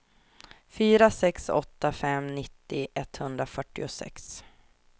fyra sex åtta fem nittio etthundrafyrtiosex